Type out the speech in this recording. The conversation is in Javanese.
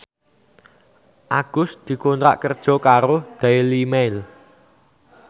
Agus dikontrak kerja karo Daily Mail